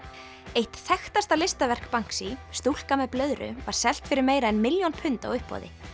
eitt þekktasta listaverk stúlka með blöðru var selt fyrir meira en milljón pund á uppboði